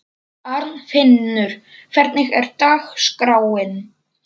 Arnfinnur, hvernig er dagskráin?